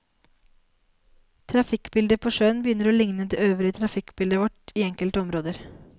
Trafikkbildet på sjøen begynner å ligne det øvrige trafikkbildet vårt i enkelte områder.